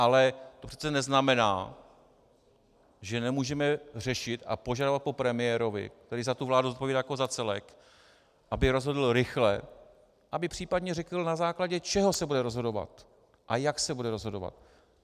Ale to přece neznamená, že nemůžeme řešit a požadovat po premiérovi, který za tu vládu zodpovídá jako za celek, aby rozhodl rychle, aby případně řekl, na základě čeho se bude rozhodovat a jak se bude rozhodovat.